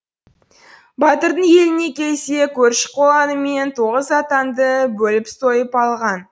батырдың еліне келсе көрші қолаңымен тоғыз атанды бөліп сойып алған